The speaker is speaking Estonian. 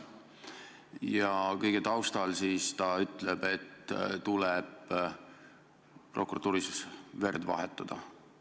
Ja kõige selle taustal ta teatab, et prokuratuuris tuleb verd vahetada.